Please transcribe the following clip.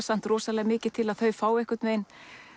samt rosalega mikið til að þau fái einhvern veginn